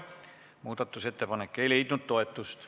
Muudatusettepanek ei leidnud toetust.